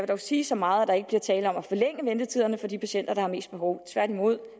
dog sige så meget at der ikke bliver tale om at forlænge ventetiderne for de patienter der har mest behov tværtimod